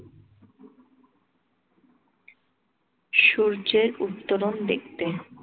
সূর্যের উত্তরণ দেখতে।